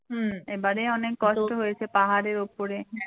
হম এবারে অনেক কষ্ট হয়েছে পাহাড়ের ওপরে।